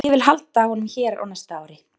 Ég vil halda honum hér á næsta ári.